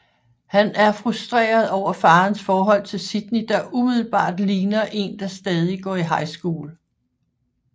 Han er frustreret over farens forhold til Sydney der umiddelbart ligner én der stadig går i High School